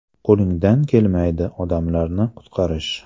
Qo‘lingdan kelmaydi odamlarni qutqarish.